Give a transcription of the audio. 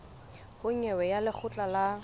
ho nyewe ya lekgotla la